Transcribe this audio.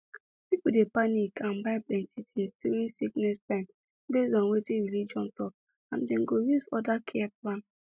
people dey panic and buy plenty things during sickness time based on wetin religion talk and dem go use other care plan